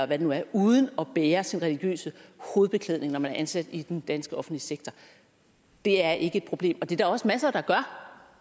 det nu er uden at bære sin religiøse hovedbeklædning når man er ansat i den danske offentlige sektor det er ikke et problem og det er der også masser der gør